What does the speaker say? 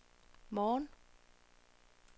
morgen